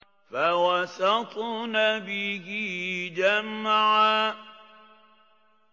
فَوَسَطْنَ بِهِ جَمْعًا